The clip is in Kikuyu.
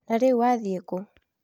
Na rĩu wathii kũ?